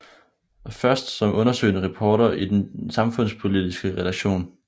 Først som undersøgende reporter i Den Samfundspolitiske Redaktion